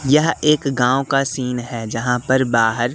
यह एक गांव का सीन है जहां पर बाहर--